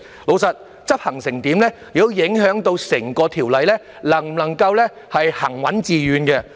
老實說，執行得怎樣亦會影響整項《條例草案》能否行穩致遠。